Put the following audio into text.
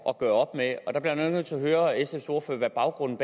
at gøre op med der bliver jeg nødt til at høre sfs ordfører hvad baggrunden